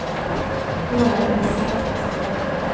Då är det besatthet som gäller.